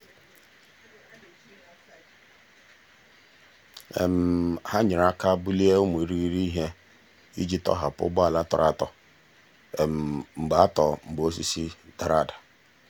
ha nyere aka bulie ụmụ irighiri ihe iji tọhapụ ụgbọala tọrọ atọ mgbe atọ mgbe osisi dara.